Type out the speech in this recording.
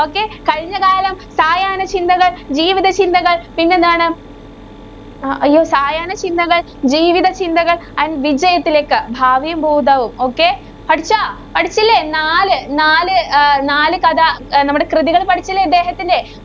പിന്നെന്താണ്? അയ്യോ! സായാഹ്നചിന്തകള്‍, ജീവിതചിന്തകള്‍ and വിജയത്തിലേക്ക്. ഭാവിയും ഭൂതവും okay പഠിച്ചോ? പഠിച്ചില്ലേ നാല്, നാല് ആഹ് നാല് കഥ അഹ് നമ്മടെ കൃതികള് പഠിച്ചില്ലേ ഇദ്ദേഹത്തിന്‍റെ